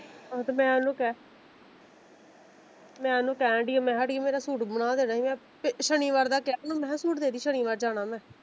ਤੇ ਮੈਂ ਉਹਨੂੰ ਕਿਹਾ ਮੈਂ ਓਹਨੂੰ ਕਹਿਣ ਡੀ ਆ ਮੈਂ ਕਿਹਾ ਅੜੀਏ ਮੇਰਾ ਸੂਟ ਬਣਾ ਦੇਣਾ ਸੀ ਮੈਂ ਸ਼ਨੀਵਾਰ ਦਾ ਕਿਹਾ ਓਹਨੂੰ ਮੈਂ ਕਿਹਾ ਸੂਟ ਦੇਦੀ ਸ਼ਨੀਵਾਰ ਜਾਣਾ ਮੈਂ।